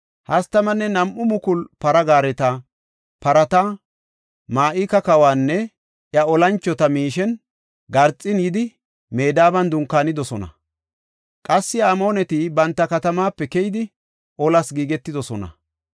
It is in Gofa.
32,000 para gaareta, parata, Ma7ika kawanne iya olanchota miishen garxin yidi Medaban dunkaanidosona. Qassi Amooneti banta katamaape keyidi olas giigetidosona.